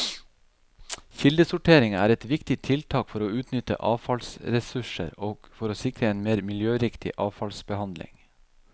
Kildesortering er et viktig tiltak for å utnytte avfallsressurser og for å sikre en mer miljøriktig avfallsbehandling.